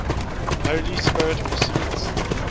holy spirit proceeds